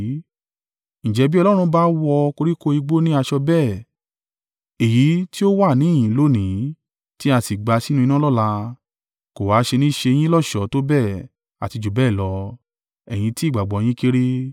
Ǹjẹ́ bí Ọlọ́run bá wọ koríko igbó ní aṣọ bẹ́ẹ̀, èyí tí ó wà níhìn-ín lónìí ti a sì gbà sínú iná lọ́la, kò ha ṣe ni ṣe yín lọ́ṣọ̀ọ́ tó bẹ́ẹ̀ àti jù bẹ́ẹ̀ lọ, ẹ̀yin tí ìgbàgbọ́ yín kéré?